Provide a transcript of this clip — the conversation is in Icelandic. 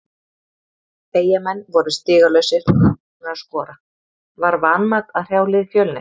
Eyjamenn voru stigalausir og ekki búnir að skora, var vanmat að hrjá lið Fjölnis?